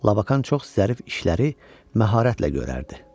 Labakan çox zərif işləri məharətlə görərdi.